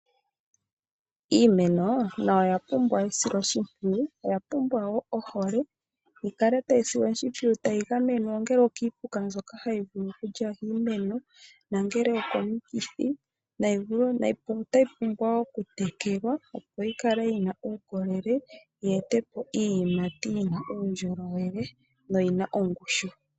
Iimeno nayo oya pumbwa esilo shimpwiyu, oya pumbwa wo ohole yi kale tayi silwa oshimpwiyu tayi gamwenwa ongele okiipuka mbyoka hayi li vulu okulya iimeno. Otayi pumbwa wo okutekelwa. opo yi kale yina uukolele yi ete po iiyimati yina uundjolowele noyina ongushu.